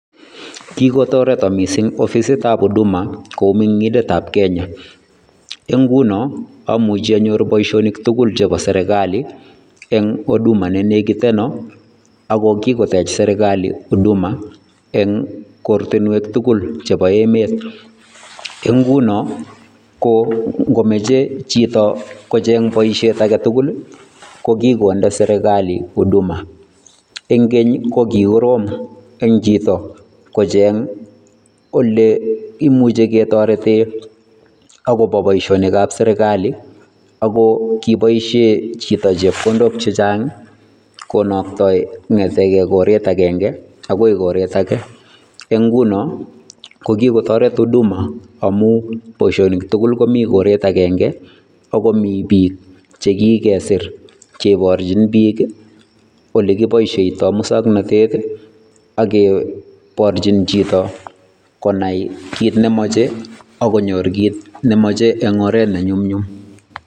Kikotaretaan missing offissit ab Huduma ko mengindeet ab Kenya [c] en ngunoo ko amuchei anyoor boisionik tugul chebo serikali en Huduma be nekitenaan ako kikiteech serikali huduma eng kortinwek tugul chebo emet, en ngunoo ko mechei chitoo kocheeng boisiet age tugul ko kokondei serikali huduma en keeny ko kikorom eng chitoo kocheeng ole imuche ketareteen ako bo boisionik ab serikali ako kibaisheen chitoo chepkondook chechaang konamdai kongetegei koreet agenge agoi koreet age en ngunoo ko kikotaret huduma amuun boisionik tugul komii koret agenge ago Mii biik chekikesiir cheibarchiin biik ole kibaishaitoi musangnatet age barjiim chitoo konai kit memachei ago nyoor kit memachei en oret ne nyumnyum.